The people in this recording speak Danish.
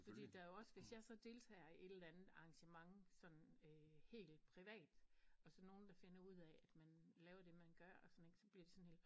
Fordi der er jo også hvis jeg så deltager i et eller andet arrangement sådan øh helt privat og så nogle der finder ud af at man laver det man gør og sådan ik og så bliver de sådan helt